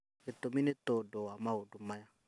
gĩtũmi nĩ tondũ wa maũndũ maya: